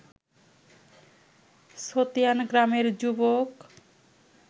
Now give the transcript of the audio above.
ছতিয়ান গ্রামের যুবক